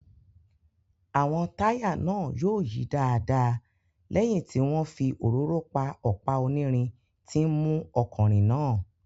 Àwọn táyà náà yóò yí dáadáa lẹ́yìn tí wọ́n fi òróró pa ọ̀pá onírin tí ń mú ọkọ̀ rìn náà